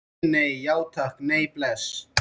Nei, nei, já takk, nei, bless.